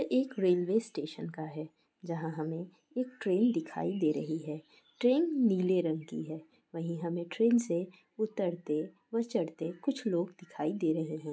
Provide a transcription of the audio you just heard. एक railway station का है जहाँ हमे एक ट्रैन दिखाई दे रही है। ट्रैन नीले रंग की है वही हमे ट्रैन से उतरते व चढ़ते कुछ लोग दिखाई दे रहे हैं।